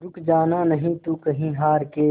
रुक जाना नहीं तू कहीं हार के